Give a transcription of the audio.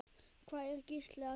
Hvað er Gísli að gera?